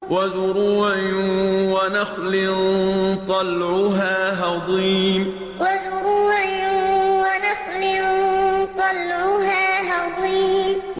وَزُرُوعٍ وَنَخْلٍ طَلْعُهَا هَضِيمٌ وَزُرُوعٍ وَنَخْلٍ طَلْعُهَا هَضِيمٌ